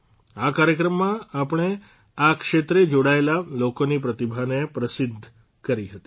આ કાર્યક્રમમાં આપણે આ ક્ષેત્રે જોડાયેલા લોકોની પ્રતિભાને પ્રસિદ્ધ કરી હતી